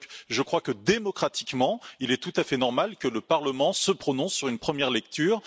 Je crois que, démocratiquement, il est tout à fait normal que le Parlement se prononce sur une première lecture.